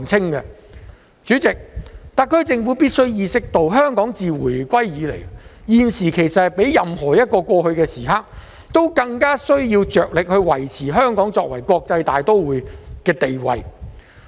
代理主席，特區政府必須意識到，香港自回歸以來，現時其實是較過去任何一刻更加需要着力維持香港作為國際大都會的地位。